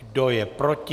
Kdo je proti?